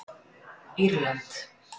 Írland